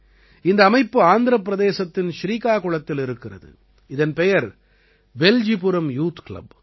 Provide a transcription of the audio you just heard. இந்த அமைப்பு ஆந்திரப் பிரதேசத்தின் ஸ்ரீகாகுளத்தில் இருக்கிறது இதன் பெயர் பெல்ஜிபுரம் யூத் கிளப்